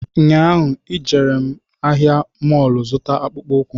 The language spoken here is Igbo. Nyaahu e jere m ahịa mọlụ zụta akpụkwụ